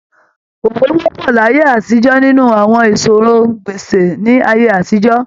Òwe wọ́pọ̀ láyé àtijọ́ nínú àwọn ìsọ̀rọ̀-n-gbèsì ní ayé àtijọ́.